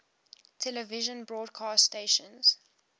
television broadcast stations